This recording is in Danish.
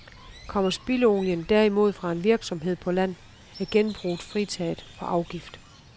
Kommer spildolien derimod fra en virksomhed på land, er genbruget fritaget for afgift.